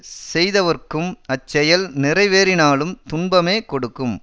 செய்தவர்க்கும் அச்செயல் நிறைவேறினாலும் துன்பமே கொடுக்கும்